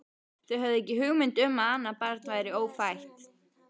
Þau höfðu ekki hugmynd um að annað barn væri ófætt.